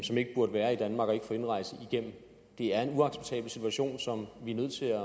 som ikke burde være i danmark og ikke få indrejse igennem det er en uacceptabel situation som vi er nødt til